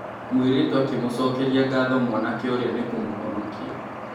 Mũirĩtu akĩmũcokeria ngatho mwanake ũrĩa nĩ kũmũhonokia.